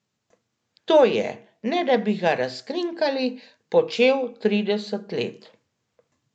To je, ne da bi ga razkrinkali, počel trideset let.